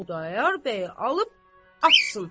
Xudayar bəy alıb açsın.